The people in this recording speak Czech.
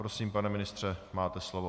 Prosím, pane ministře, máte slovo.